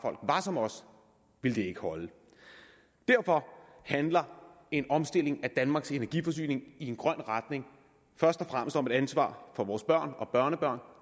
var som os ville det ikke holde derfor handler en omstilling af danmarks energiforsyning i en grøn retning først og fremmest om et ansvar for vores børn og børnebørn